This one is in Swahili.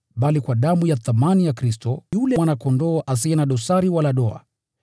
bali kwa damu ya thamani ya Kristo, yule Mwana-Kondoo asiye na dosari wala doa.